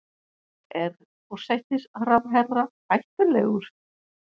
Er forsætisráðherra hættulegur?